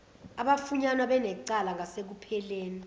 abafunyanwa benecala ngasekupheleni